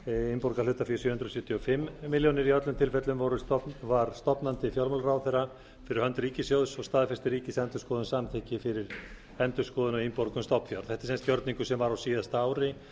innborgað hlutafé sjö hundruð sjötíu og fimm milljónir króna í öllum tilfellum var stofnandi fjármálaráðherra fyrir hönd ríkissjóðs og staðfesti ríkisendurskoðun samþykki fyrir endurskoðun á innborgun stofnfjár þetta er sem sagt sá gjörningur sem var á síðasta ári